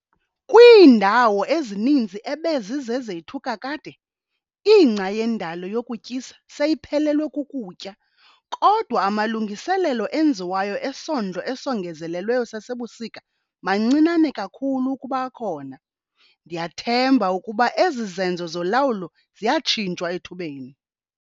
Kwiindawo ezininzi ebezizezethu kakade, ingca yendalo yokutyisa seyiphelelwe kukutya kodwa amalungiselelo enziwayo esondlo esongozelelweyo sasebusika mancinane kakhulu ukuba akhona. Ndiyathemba ukuba ezi zenzo zolawulo ziyatshintshwa ethubeni.